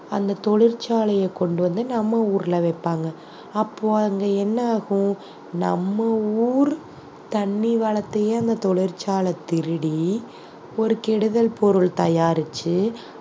அந்த தொழிற்சாலைய கொண்டு வந்து நம்ம ஊர்ல வெப்பாங்க அப்போ அங்கே என்ன ஆகும் நம்ம ஊர் தண்ணி வளத்தையே அந்த தொழிற்சாலை திருடி ஒரு கெடுதல் பொருள் தயாரிச்சு